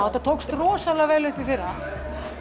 þetta tókst rosalega vel í fyrra